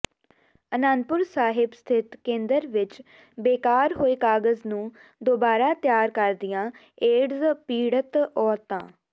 ਆਨੰਦਪੁਰ ਸਾਹਿਬ ਸਥਿਤ ਕੇਂਦਰ ਵਿੱਚ ਬੇਕਾਰ ਹੋਏ ਕਾਗ਼ਜ਼ ਨੂੰ ਦੁਬਾਰਾ ਤਿਆਰ ਕਰਦੀਆਂ ਏਡਜ਼ ਪੀੜਤ ਔਰਤਾਂ